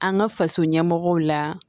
An ka faso ɲɛmɔgɔw la